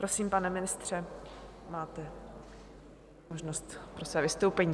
Prosím, pane ministře, máte možnost pro své vystoupení.